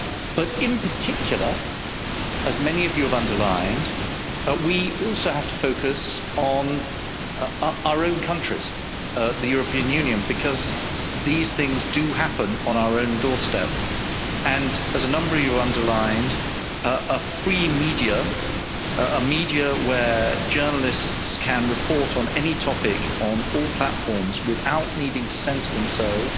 But in particular, as many of you have underlined, we also have to focus on our own countries, the European Union, because these things do happen on our own doorstep and, as a number of you have underlined, a free media, a media where journalists can report on any topic, on all platforms, without needing to censor themselves